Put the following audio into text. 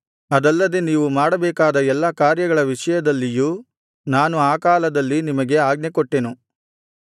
ಅದಲ್ಲದೆ ನೀವು ಮಾಡಬೇಕಾದ ಎಲ್ಲಾ ಕಾರ್ಯಗಳ ವಿಷಯದಲ್ಲಿಯೂ ನಾನು ಆ ಕಾಲದಲ್ಲಿ ನಿಮಗೆ ಆಜ್ಞೆಕೊಟ್ಟೆನು